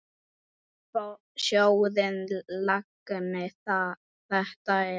Sjórinn langi þetta er.